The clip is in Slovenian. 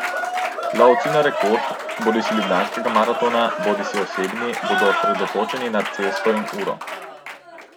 Lovci na rekord, bodisi ljubljanskega maratona bodisi osebni, bodo osredotočeni na cesto in uro.